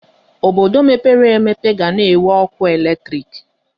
Obodo mepere emepe ga na-enwe ọkụ eletrik.